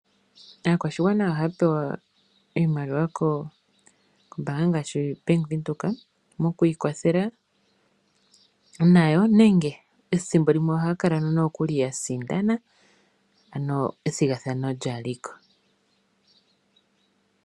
Aakwashigwana ohaya pewa iimaliwa kombaanga ngaashi Bank Windhoek Moku ikwathela nayo nenge ethimbolimwe ohaya kala nokuli ya sindana ano ethigathano lyaliko.